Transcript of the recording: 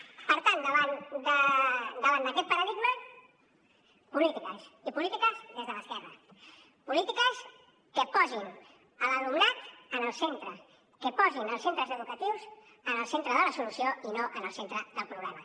per tant davant d’aquest paradigma polítiques i polítiques des de l’esquerra polítiques que posin l’alumnat en el centre que posin els centres educatius en el centre de la solució i no en el centre del problema